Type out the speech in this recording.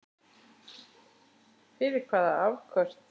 Fyrir hvaða afköst?